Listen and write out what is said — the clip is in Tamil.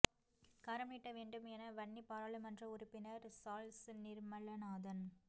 கரம் நீட்ட வேண்டும் என வன்னி பாராளுமன்ற உறுப்பினர் சாள்ஸ் நிர்மலநாதன்